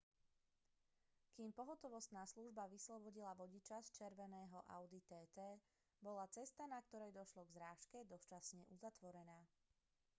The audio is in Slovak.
kým pohotovostná služba vyslobodila vodiča z červeného audi tt bola cesta na ktorej došlo k zrážke dočasne uzatvorená